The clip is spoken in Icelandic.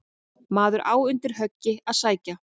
Maður á undir högg að sækja.